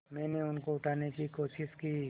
मैंने उनको उठाने की कोशिश की